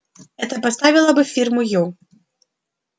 это поставило бы фирму ю